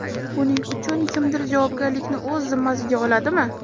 Buning uchun kimdir javobgarlikni o‘z zimmasiga oladimi?